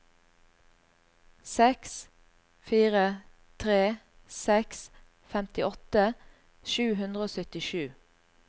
seks fire tre seks femtiåtte sju hundre og syttisju